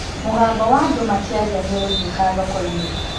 Mũgambo wa andũ makĩaria nĩ ũraiguĩka thoko-inĩ.